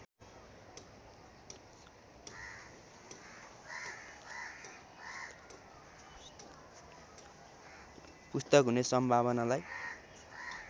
पुस्तक हुने सम्भावनालाई